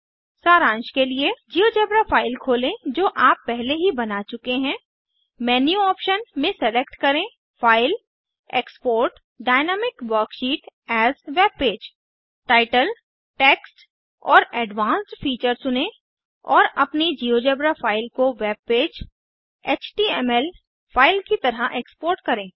सारांश के लिए जिओजेब्रा फाइल खोलें जो आप पहले ही बना चुके हैं मेन्यू ऑप्शन में सेलेक्ट करें file GT export GT dynamic worksheet as webpage title text और एडवांस्ड फीचर चुनें और अपनी जिओजेब्रा फाइल को वेबपेज एचटीएमएल फाइल की तरह एक्सपोर्ट करें